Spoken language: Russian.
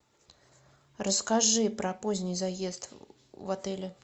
расскажи про поздний заезд в отеле